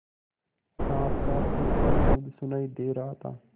साँस का खरखर शब्द सुनाई दे रहा था